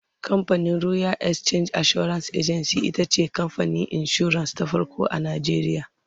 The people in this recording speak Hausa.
camfanin royal exchange assurance agency itace kamfanin insura ta farko a nigeria